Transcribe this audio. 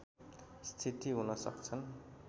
स्थिति हुन सक्छन्